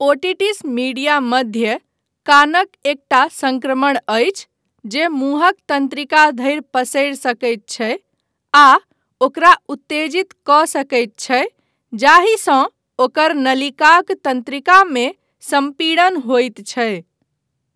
Otitis media मध्य कानक एकटा सङ्क्रमण अछि जे मुँहक तन्त्रिका धरि पसरि सकैत छै आ ओकरा उत्तेजित कऽ सकैत छै जाहिसँ ओकर नलिकाक तन्त्रिकामे सम्पीड़न होयत छै।